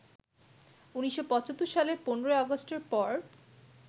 ১৯৭৫ সালের ১৫ই আগষ্টের পর